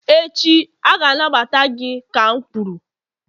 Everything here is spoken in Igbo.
echi, a ga-anagbata gị ka m kwuru